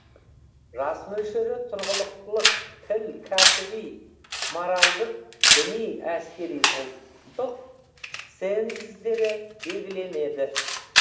жас мөлшері тұрғылықтылық тіл кәсіби моральдық діни әскери ұлттық ценздері белгіленеді